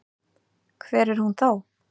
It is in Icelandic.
Hver er hún þá?